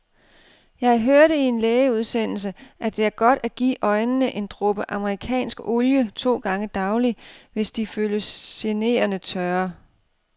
Jeg hørte i en lægeudsendelse, at det er godt at give øjnene en dråbe amerikansk olie to gange daglig, hvis de føles generende tørre.